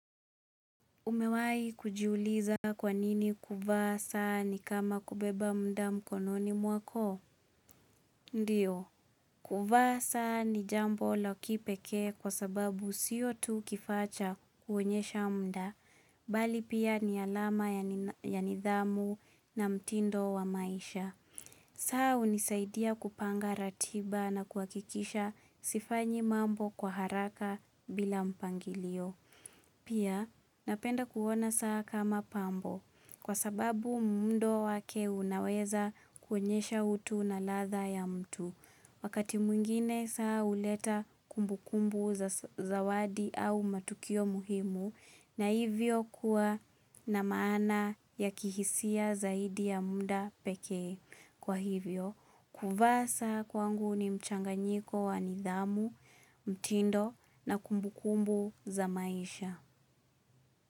Umewahi kujiuliza kwa nini kuvaa saa ni kama kubeba muda mkononi mwako? Ndiyo. Kuvaa saa ni jambo la kipekee kwa sababu sio tu kifaa cha kuonyesha muda. Bali pia ni alama ya nidhamu na mtindo wa maisha. Saa hunisaidia kupanga ratiba na kuhakikisha sifanyi mambo kwa haraka bila mpangilio. Pia napenda kuona saa kama pambo kwa sababu muundo wake unaweza kuonyesha utu na ladha ya mtu. Wakati mwingine saa huleta kumbukumbu za zawadi au matukio muhimu na hivyo kuwa na maana ya kihisia zaidi ya muda pekee. Kwa hivyo, kuvaa saa kwangu ni mchanganyiko wa nidhamu, mtindo na kumbukumbu za maisha.